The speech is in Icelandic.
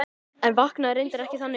En vaknaði reyndar ekki þannig.